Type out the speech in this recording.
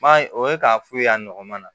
Ba ye o ye k'a f'u ye a nɔgɔman na